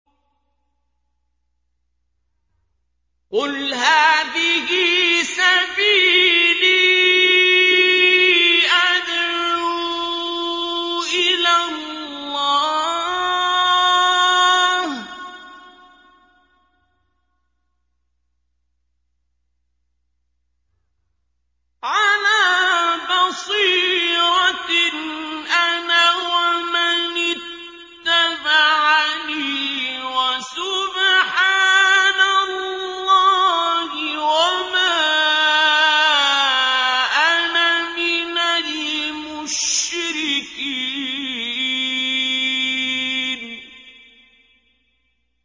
قُلْ هَٰذِهِ سَبِيلِي أَدْعُو إِلَى اللَّهِ ۚ عَلَىٰ بَصِيرَةٍ أَنَا وَمَنِ اتَّبَعَنِي ۖ وَسُبْحَانَ اللَّهِ وَمَا أَنَا مِنَ الْمُشْرِكِينَ